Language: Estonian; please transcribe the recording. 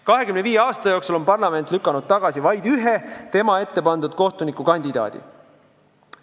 25 aasta jooksul on parlament lükanud tagasi vaid ühe tema ette pandud kohtunikukandidaadi.